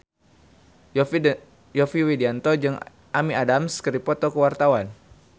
Yovie Widianto jeung Amy Adams keur dipoto ku wartawan